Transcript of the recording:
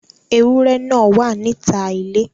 Ewúrẹ́ náà wà níta ilé.